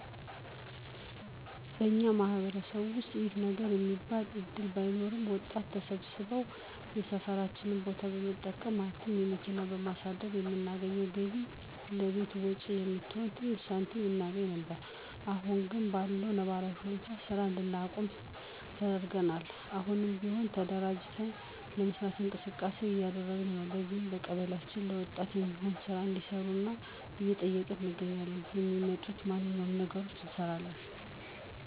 በኛ ማህበረሰብ ውስጥ ይሄ ነው የሚባል እድል ባይኖርም ወጣቶች ተሰብስበን የሰፈራችንን ቦታ በመጠቀም ማለትም መኪና በማሳደር ከምናገኘው ገቢ ለቤት ወጭ የምትሆን ትንሽ ሳንቲም እናገኝ ነበር። አሁን ግን በለው ነባራዊ ሁኔታ ስራ እንድናቆም ተደርገናል። አሁንም ቢሆን ተደራጅተን ለመስራት እንቅስቃሴ እያደረግን ነው። ለዚህም ቀበሊያችንን ለወጣት የሚሆን ስራ እንዲያሰሩን እየጠየቅን እንገኛለን። የሚመጡትን ማነኛውም ነገሮች እንሰራለን።